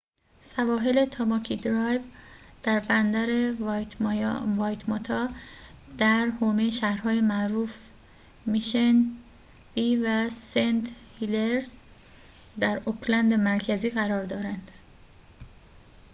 سواحل تاماکی درایو در بندر وایتماتا در حومه شهرهای معروف میشن بی و سنت هلییرز در اوکلند مرکزی قرار دارند